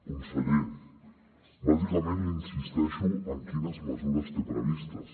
conseller bàsicament li insisteixo en quines mesures té previstes